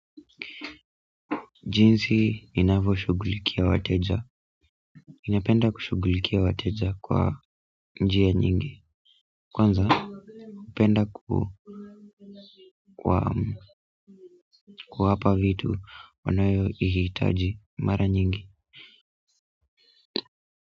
Jinsi ninavyoshugulikia wateja. Ninapenda kushugulikia wateja kwa njia nyingi. Kwanza hupenda kuwapa vitu wanayohitaji mara nyingi.